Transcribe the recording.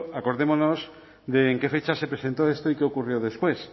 acordémonos de en qué fecha se presentó esto y qué ocurrió después